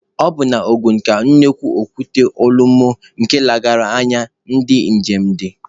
Ọ bụ na Ogun ka nnukwu okwute Olumọ nke nlegharị anya ndi njem dị.